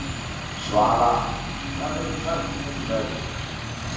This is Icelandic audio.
Svala, hvað geturðu sagt mér um veðrið?